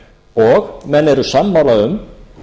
og menn eru sammála um